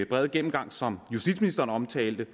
brede gennemgang som justitsministeren omtalte